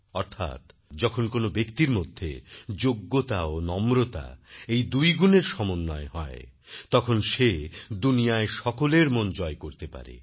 অর্থাৎ যখন কোন ব্যাক্তির মধ্যে যোগ্যতা ও নম্রতা এই দুই গুণের সমন্বয় হয় তখন সে দুনিয়ায় সকলের মন জয় করতে পারে